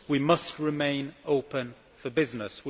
We must remain open for business.